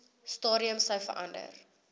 stadium sou verander